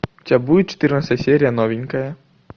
у тебя будет четырнадцатая серия новенькая